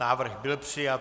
Návrh byl přijat.